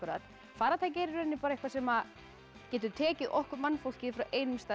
farartæki er í rauninni er bara eitthvað sem getur tekið okkur mannfólkið frá einum stað